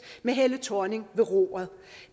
med helle thorning ved roret